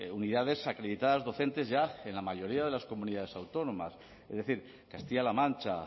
unidades acreditadas docentes ya en la mayoría de las comunidades autónomas es decir castilla la mancha